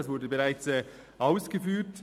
das wurde bereits ausgeführt.